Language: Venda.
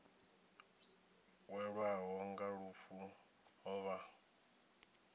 welwaho nga lufu ho vha